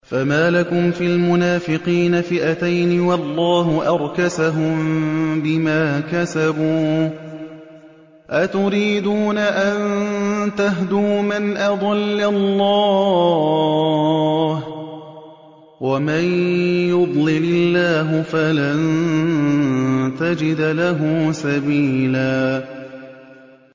۞ فَمَا لَكُمْ فِي الْمُنَافِقِينَ فِئَتَيْنِ وَاللَّهُ أَرْكَسَهُم بِمَا كَسَبُوا ۚ أَتُرِيدُونَ أَن تَهْدُوا مَنْ أَضَلَّ اللَّهُ ۖ وَمَن يُضْلِلِ اللَّهُ فَلَن تَجِدَ لَهُ سَبِيلًا